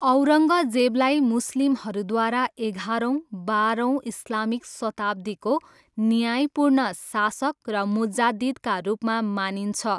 औरङ्गजेबलाई मुस्लिमहरूद्वारा एघारौँ, बाह्रौँ इस्लामिक शताब्दीको न्यायपूर्ण शासक र मुजाद्दिदका रूपमा मानिन्छ।